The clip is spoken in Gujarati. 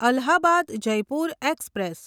અલ્હાબાદ જયપુર એક્સપ્રેસ